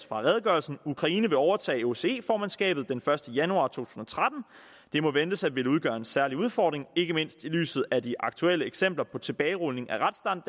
fra redegørelsen ukraine vil overtage osce formandskabet den første januar to tusind og tretten det må ventes at ville udgøre en særlig udfordring ikke mindst i lyset af de aktuelle eksempler på tilbagerulning af